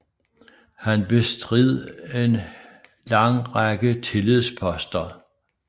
Har bestridt en lang række tillidsposter